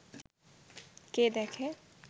কে দেখে